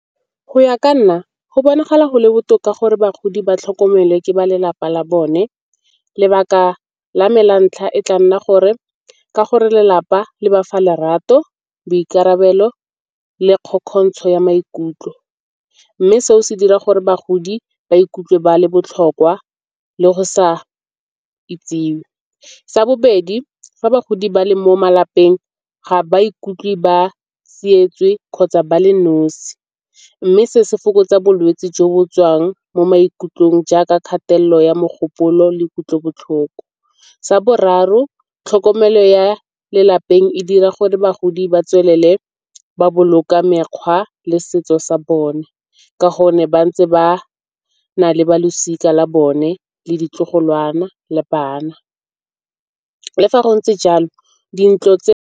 Go ya ka nna go bonagala go le botoka gore bagodi ba tlhokomelwe ke ba lelapa la bone. Lebaka la me la ntlha e tla nna gore ka gore lelapa le bafa lerato, boikarabelo le kgokgontsho ya maikutlo. Mme se o se dira gore bagodi ba ikutlwe ba le botlhokwa le go sa itsiwe. Sa bobedi, fa bagodi ba le mo malapeng ga ba ikutlwe ba kgotsa ba le nosi mme se se fokotsa bolwetse jo bo tswang mo maikutlong jaaka kgatelelo ya mogopolo le kutlobotlhoko. Sa boraro, tlhokomelo ya lelapeng e dira gore bagodi ba tswelele ba boloka mekgwa le setso sa bone ka gonne ba ntse ba na le balosika la bone le ditlogolwana le bana. Le fa go ntse jalo dintlo tse.